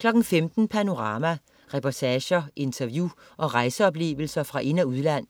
15.00 Panorama. Reportager, interview og rejseoplevelser fra ind- og udland